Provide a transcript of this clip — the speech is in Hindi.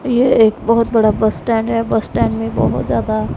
ये एक बहोत बड़ा बस स्टैंड है बस स्टैंड में बहोत ज्यादा--